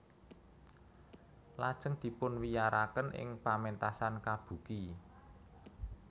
Lajeng dipunwiyaraken ing pamentasan kabuki